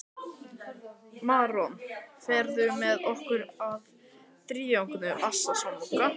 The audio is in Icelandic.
Maron, ferð þú með okkur á þriðjudaginn?